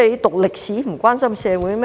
讀歷史便不關心社會嗎？